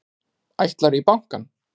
Ætlarðu í bankann?